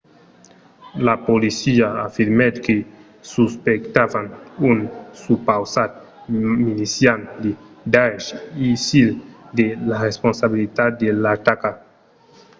la polícia afirmèt que suspectavan un supausat milician de daesh isil de la responsabilitat de l'ataca